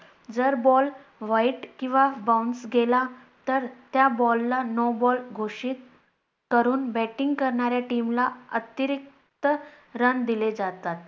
जर ball wide किंवा Bounce गेला तर त्या ball ला no ball घोषित करून Batting करणाऱ्या Team ला अतिरिक्त Run दिले जातात.